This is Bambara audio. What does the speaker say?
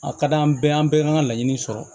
A ka d'an bɛɛ ye an bɛɛ ka laɲini sɔrɔ